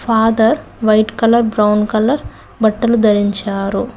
Father white colour brown colour బట్టలు ధరించారు.